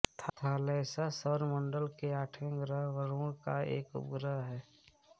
Thalassa सौर मण्डल के आठवे ग्रह वरुण का एक उपग्रह है